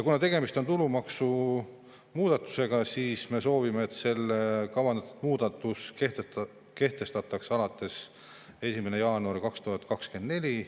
Kuna tegemist on tulumaksu muudatusega, siis me soovime, et kavandatud muudatus kehtestataks alates 1. jaanuarist 2024.